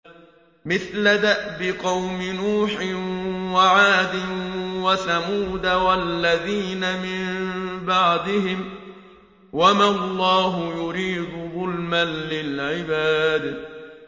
مِثْلَ دَأْبِ قَوْمِ نُوحٍ وَعَادٍ وَثَمُودَ وَالَّذِينَ مِن بَعْدِهِمْ ۚ وَمَا اللَّهُ يُرِيدُ ظُلْمًا لِّلْعِبَادِ